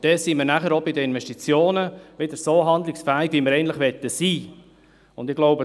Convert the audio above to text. Dann sind wir auch bei den Investitionen wieder so handlungsfähig, wie wir es eigentlich sein möchten.